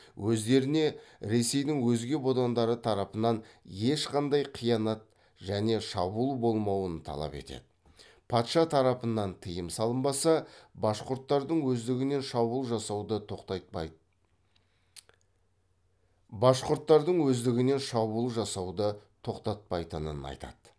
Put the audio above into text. өздеріне ресейдің өзге бодандары тарапынан ешқандай қиянат және шабуыл болмауын талап етеді патша тарапынан тыйым салынбаса башқұрттардың өздігінен шабуыл жасауды тоқтатпайтынын айтады